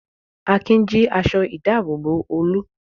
Akin jí aṣọ-ìdáàbòbò Olú.